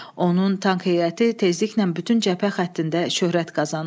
Onun tank heyəti tezliklə bütün cəbhə xəttində şöhrət qazanır.